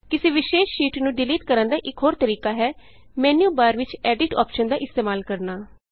ਕਿਸੀ ਵਿਸ਼ੇਸ਼ ਸ਼ੀਟ ਨੂੰ ਡਿਲੀਟ ਕਰਨ ਦਾ ਇਕ ਹੋਰ ਤਰੀਕਾ ਹੈ ਮੈਨਯੂਬਾਰ ਵਿਚ ਐਡਿੱਟ ਐਡਿਟ ਅੋਪਸ਼ਨ ਦਾ ਇਸਤੇਮਾਲ ਕਰਨਾ